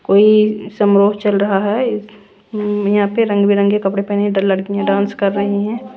कोई समरोह चल रहा है यहां पे रंग बिरंग के कपड़े पहने लड़कियां डांस कर रही हैं।